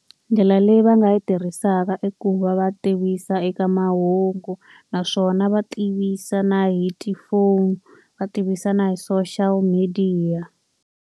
Ndlela leyi va nga yi tirhisaka i ku va va tivisa eka mahungu, naswona va tivisa na hi tifoni, va tivisa na hi social media.